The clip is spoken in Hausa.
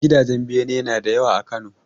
Gidajen bene nada yawa a Kano